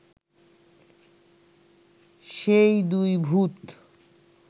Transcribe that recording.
সেই দুই ভূত